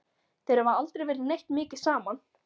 Þeir hafa aldrei verið neitt mikið saman.